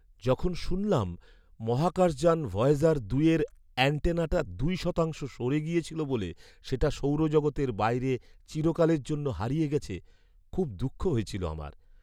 যখন শুনলাম মহাকাশযান ভয়েজার দুইয়ের অ্যান্টেনাটা দুই শতাংশ সরে গিয়েছিল বলে সেটা সৌরজগতের বাইরে চিরকালের জন্য হারিয়ে গেছে, খুব দুঃখ হয়েছিল আমার।